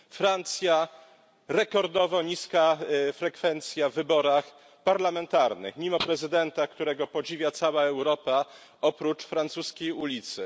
We Francji rekordowo niska frekwencja w wyborach parlamentarnych, mimo prezydenta, którego podziwia cała Europa oprócz francuskiej ulicy.